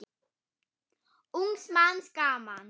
Ungs manns gaman.